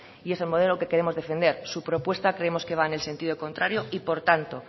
y es el modelo que queremos defender su propuesta creemos que va en el sentido contrario y por tanto